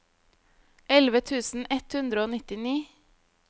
elleve tusen ett hundre og nittini